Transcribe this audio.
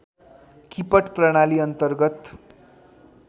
किपट प्रणाली अन्तर्गत